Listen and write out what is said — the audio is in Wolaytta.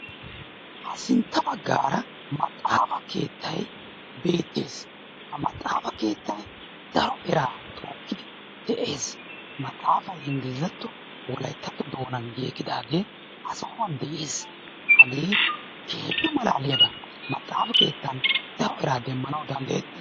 Ha sintta baggaara maxxaafa keettay beettees. Ha maxxaafa daro eraa tookkidi de'ees. Maxxaafay ingilizatto wolayittatto doonan giigidaagee ha sohuwan de'ees. Hagee keehippe malaaliyaba. Maxxaafa keettan daro eraa demmanawu danddayettees.